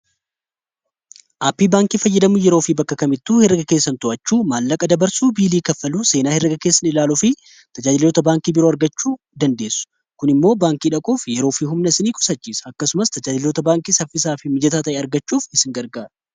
aappii baankii fayyidamuu yeroo fi bakkakamittu herga keessan to'achuu maallaqa dabarsuu biilii kaffaluu seenaa heerega keessan ilaalu fi tajaajilota baankii biroo argachuu dandeessu .kun immoo baankii dhaquuf yeroo fi humna isini qusachiisa. akkasumas tajaajilota baankii saffisaa fi mijataa ta'e argachuuf isin gargara.